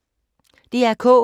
DR K